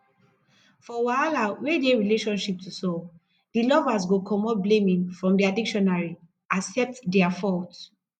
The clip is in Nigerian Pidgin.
for wahala wey dey relationship to solve di lovers go comot blaiming from their dictionary accept their fault